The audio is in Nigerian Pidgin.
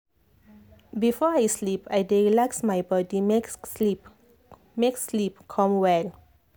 before i sleep i dey relax my body make sleep make sleep come well